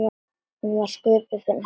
Hún var sköpuð fyrir hann.